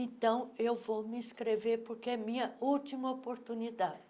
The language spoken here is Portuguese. Então, eu vou me inscrever, porque é a minha última oportunidade.